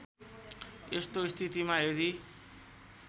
यस्तो स्थितिमा यदि